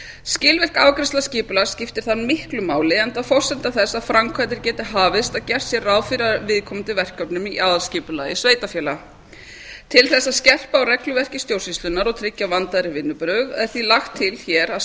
skilvirk afgreiðsla skipulags skiptir þar miklu máli enda forsenda þess að framkvæmdir geti hafist að gert sé ráð fyrir viðkomandi verkefnum í aðalskipulagi sveitarfélags til þess að skerpa á regluverki stjórnsýslunnar og tryggja vandaðri vinnubrögð er því lagt til hér að